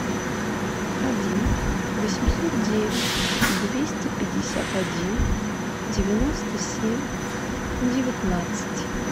один восемьсот девять двести пятьдесят один девяносто семь девятнадцать